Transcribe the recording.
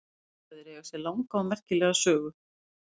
Bessastaðir eiga sér langa og merkilega sögu.